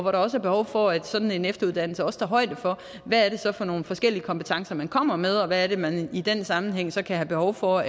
er også behov for at sådan en efteruddannelse også tager højde for hvad det er for nogle forskellige kompetencer man kommer med og hvad det er man i den sammenhæng kan have behov for